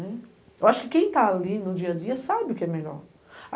Eu acho que quem está ali no dia a dia sabe o que é melhor.